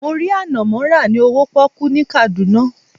Mo rí ànànmọ́ rà ní owó pọ́kú ní Kaduna.